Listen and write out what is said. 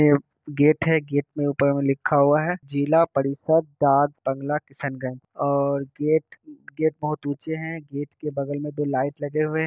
Gate gate के ऊपर लिखा हुआ है जिला परिषद डाक बांग्ला किशनगंज और गेट गेट बहुत ऊंचे हैं गेट के बगल में दो लाइट लगे हुए है।